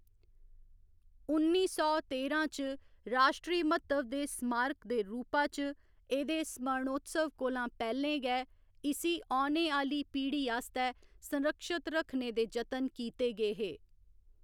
उन्नी सौ तेरां च राश्ट्री म्हत्तव दे स्मारक दे रूपा च एह्‌‌‌दे स्मरणोत्सव कोला पैह्‌लें गै, इसी औने आह्‌ली पीढ़ी आस्तै संरक्षत करने दे जतन कीते गे हे।